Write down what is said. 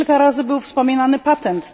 Już kilka razy był wspominany patent.